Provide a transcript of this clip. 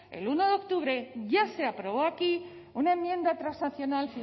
el uno de octubre ya se aprobó aquí una enmienda transaccional